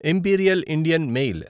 imperial Indian mail